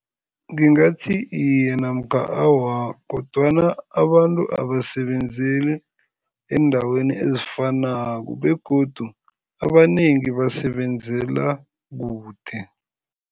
Ngingathi iye namkha awa kodwana abantu abasebenzeli eendaweni ezifanako begodu abanengi basebenzela kude.